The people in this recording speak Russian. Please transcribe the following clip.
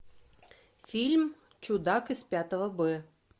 фильм чудак из пятого б